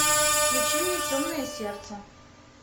включи мне темное сердце